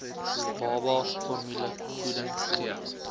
baba formulevoeding gee